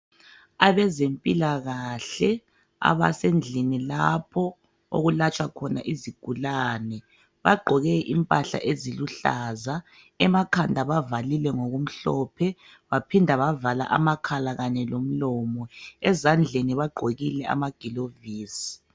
Abezempilakahle abasendlini lapho okulatshwa khona izigulane bagqoke impahla eziluhlaza emakhanda bavalile ngokumhlophe baphinda bavala amakhala Kanye lomlomo ezandleni bagqokile amagilovisi.